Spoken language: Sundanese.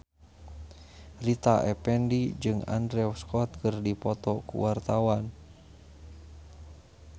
Rita Effendy jeung Andrew Scott keur dipoto ku wartawan